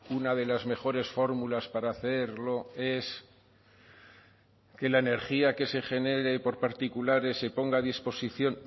una de las mejores fórmulas para hacerlo es que la energía que se genere por particulares se ponga a disposición